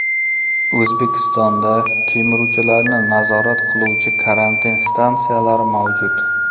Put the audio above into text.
O‘zbekistonda kemiruvchilarni nazorat qiluvchi karantin stansiyalari mavjud.